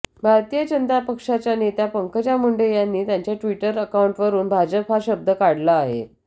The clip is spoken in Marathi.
भारतीय जनता पक्षाच्या नेत्या पंकजा मुंडे यांनी त्यांच्या ट्विटर अकाऊंटवरून भाजप हा शब्द काढला आहे